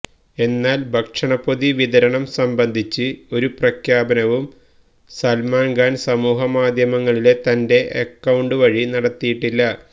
എന്നാല് ഭക്ഷണപൊതി വിതരണം സംബന്ധിച്ച് ഒരു പ്രഖ്യാപനവും സല്മാന് ഖാന് സമൂഹ മാധ്യമങ്ങളിലെ തന്റെ അക്കൌണ്ട് വഴി നടത്തിയിട്ടില്ല